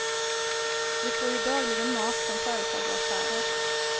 Vi får ju dagligen mat från företag och affärer.